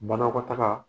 Banakɔtaga